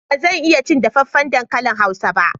Ba zan iya cin dafaffen dankalin hausa ba.